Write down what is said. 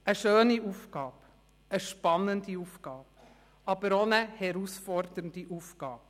Ein schöne Aufgabe, eine spannende Aufgabe, aber auch eine herausfordernde Aufgabe.